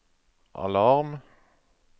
alarm